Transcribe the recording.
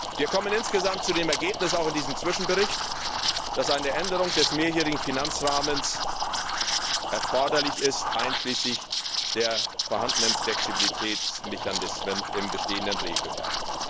Wir kommen insgesamt zu dem Ergebnis auch in diesem Zwischenbericht dass eine Änderung des Mehrjährigen Finanzrahmens erforderlich ist, einschließlich der vorhandenen Flexibilitätsmechanismen im bestehenden Regelwerk.